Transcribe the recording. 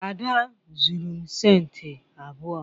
Ada zuru m centi abuo